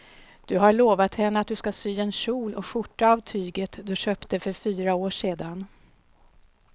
Du har lovat henne att du ska sy en kjol och skjorta av tyget du köpte för fyra år sedan.